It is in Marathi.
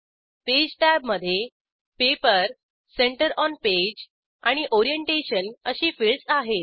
पेज टॅबमधे पेपर सेंटर ऑन पेज आणि ओरिएंटेशन अशी फिल्डस आहेत